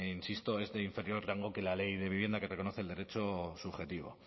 insisto es de inferior rango que la ley de vivienda que reconoce el derecho subjetivo